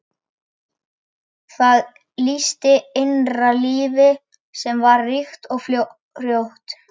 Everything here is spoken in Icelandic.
Það lýsti innra lífi sem var ríkt og frjótt.